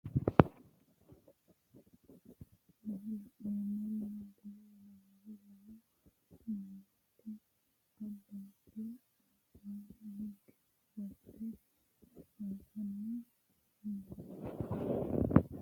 Tenni misile aleenni leelittanni nootti maa leelishshanno woy xawisannori may noosse yinne la'neemmori maattiya yinummoro lamu manootti abibba alibba hige ofollitte hasaabbanni nootti